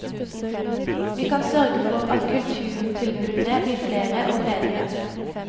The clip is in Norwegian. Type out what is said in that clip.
Vi kan sørge for at kulturtilbudene blir flere og bredere.